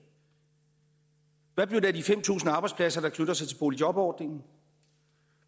hvad blev der af de fem tusind arbejdspladser der knytter sig til boligjobordningen